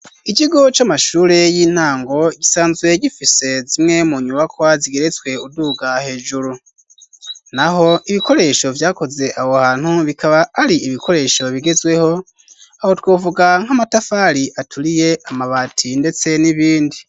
ikigo c'amashure y'intango ,gisanzwe gifise zimwe mu nyubakwa zigeretswe uduga hejuru ,naho ibikoresho vyakoze aho hantu ,bikaba ari ibikoresho bigezweho aho twovuga nk'amatafari aturiye ,amabati ndetse n'ibindi.